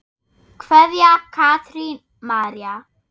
Kveðja, Katrín María.